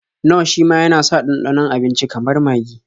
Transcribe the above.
Nor shima yana sa ɗanɗanon abinici kamar magi.